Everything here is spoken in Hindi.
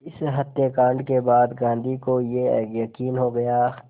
इस हत्याकांड के बाद गांधी को ये यक़ीन हो गया